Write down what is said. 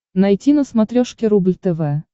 найти на смотрешке рубль тв